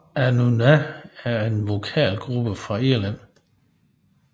Anúna er en vokalgruppe fra Irland